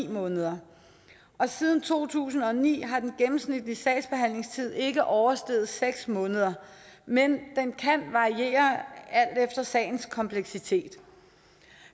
måneder og siden to tusind og ni har den gennemsnitlige sagsbehandlingstid ikke oversteget seks måneder men den kan variere alt efter sagens kompleksitet